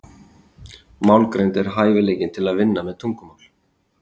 Málgreind er hæfileikinn til að vinna með tungumál.